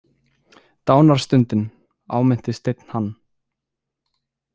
Dánarstundin, áminnti Steinn hann.